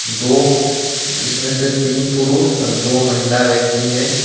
दो इसमें से तीन पुरुष और दो महिला व्यक्ति हे.